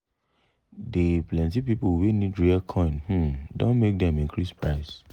d plenti people wey need rare coin um don make dem increase price.